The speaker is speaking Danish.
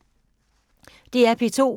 DR P2